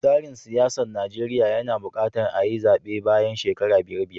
Tsarin siyasar Najeriya yana buƙatar ayi zaɓe bayan shekara biyar biyar.